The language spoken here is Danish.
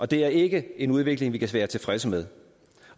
det er ikke en udvikling vi kan være tilfredse med